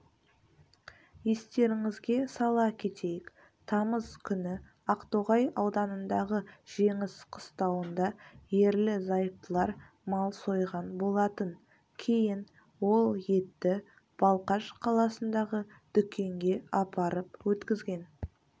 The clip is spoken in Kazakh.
естеріңізге сала кетейік тамыз күні ақтоғай ауданындағы жеңіс қыстауында ерлі-зайыптылар мал сойған болатын кейін ол етті балқаш қаласындағы дүкенге апарып өткізген